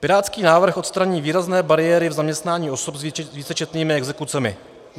Pirátský návrh odstraní výrazné bariéry v zaměstnání osob s vícečetnými exekucemi.